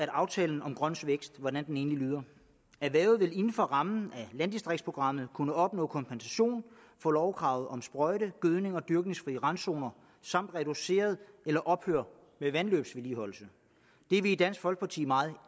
aftalen om grøn vækst egentlig lyder erhvervet vil inden for rammen af landdistriktsprogrammet kunne opnå kompensation for lovkravet om sprøjte gødnings og dyrkningsfri randzoner samt reducere eller ophøre med vandløbsvedligeholdelse det er vi i dansk folkeparti meget